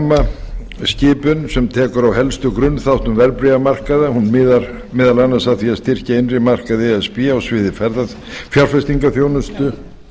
er rammatilskipun sem tekur á helstu grunnþáttum verðbréfamarkaða hún miðar meðal annars að því að styrkja innri markaði e s b á sviði fjárfestingarþjónustu